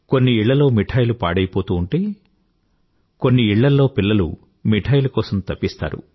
కొన్ని ఇళ్ళల్లో మిఠాయిలు పాడయిపోతూ ఉంటే కొన్ని ఇళ్ళల్లో పిల్లలు మిఠాయిల కోసం తపిస్తారు